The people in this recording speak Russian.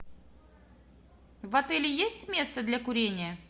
в отеле есть место для курения